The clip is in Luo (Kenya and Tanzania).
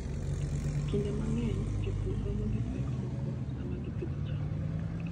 Kinde mang'eny, jopur romo gi pek moko sama gipidho cham.